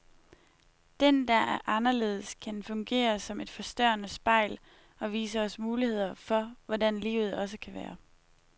Den, der er anderledes, kan fungere som et forstørrende spejl, og vise os muligheder for hvordan livet også kan være.